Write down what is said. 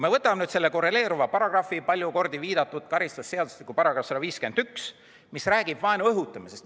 Ja võtame nüüd selle korreleeruva paragrahvi, palju kordi viidatud karistusseadustiku § 151, mis räägib vaenu õhutamisest.